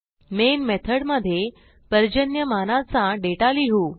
main मेथडमधे पर्जन्यमानाचा data लिहू